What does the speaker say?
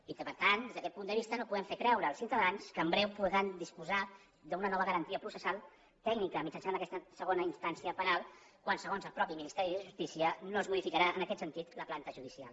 i que per tant des d’aquest punt de vista no podem fer creure als ciutadans que en breu podran disposar d’una nova garantia processal tècnica mitjançant aquesta segona instància penal quan segons el mateix ministeri de justícia no es modificarà en aquest sentit la planta judicial